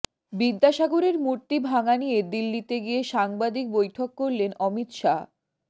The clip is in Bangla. বিদ্যাসাগরের মূর্তিভাঙা নিয়ে দিল্লিতে গিয়ে সাংবাদিক বৈঠক করলেন অমিত শাহ